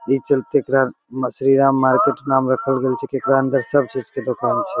इ चलते एकरा श्री राम मार्केट नाम रखल गेल छै कि एकरा अंदर सब चीज के दुकान छै।